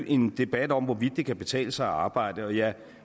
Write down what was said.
en debat om hvorvidt det kan betale sig at arbejde jeg